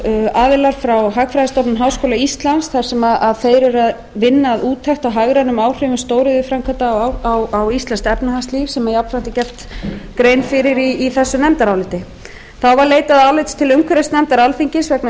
aðilar frá hagfræðistofnun háskóla íslands þar sem þeir eru að vinna úttekt á hagrænum áhrifum stóriðjuframkvæmda á íslenskt efnahagslíf sem jafnframt er gert grein fyrir í þessu nefndaráliti þá var leitað álits umhverfisnefndar alþingis vegna